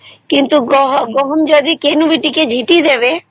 କିନ୍ତୁ ଗହମ ବି କିଏ ଯଦି ଝିଟି ଦେବେ